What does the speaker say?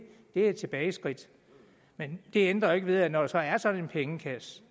et tilbageskridt men det ændrer jo ikke ved at når der så er sådan en pengekasse